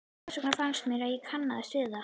Þess vegna fannst mér ég kannast við hann.